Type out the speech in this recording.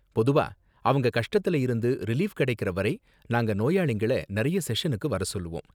பொதுவா, அவங்க கஷ்டத்துல இருந்து ரிலீஃப் கிடைக்கற வரை நாங்க நோயாளிங்கள நிறைய செஷனுக்கு வர சொல்லுவோம்.